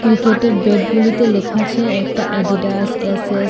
ক্রিকেটের ব্যাটগুলিতে লেখা আছে একটা এডিডাস এস_এস ।